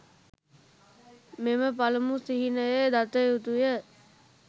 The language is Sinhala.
මෙම පළමු සිහිනය දතයුතුය.